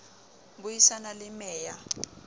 bui sana le mec ya